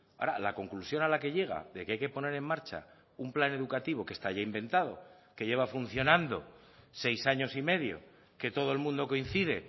ahora la conclusión a la que llega de que hay que poner en marcha un plan educativo que está ya inventado que lleva funcionando seis años y medio que todo el mundo coincide